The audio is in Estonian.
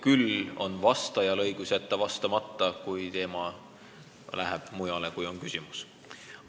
Küll on vastajal õigus jätta vastamata, kui teema kaldub päevakorrapunktist kõrvale.